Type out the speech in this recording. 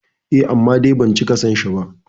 Eh, amma dai ban cika son shi ba